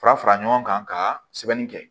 Fara fara ɲɔgɔn kan ka sɛbɛnni kɛ